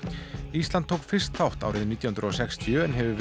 ísland tók fyrst þátt árið nítján hundruð og sextíu en hefur